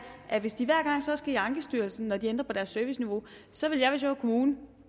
at hvis de hver gang så skal i ankestyrelsen når de ændrer på deres serviceniveau så ville jeg hvis jeg var kommune